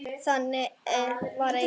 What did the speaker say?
Þannig var Eiður.